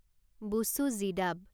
বুচু জিদাব